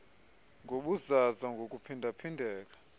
nobuzaza ngokuphinda phindeka